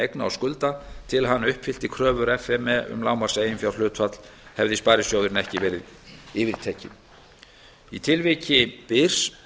eigna og skulda til að hann uppfyllti kröfur f m e um lágmarkseiginfjárhlutfall hefði sparisjóðurinn ekki verið yfirtekinn í tilviki byrs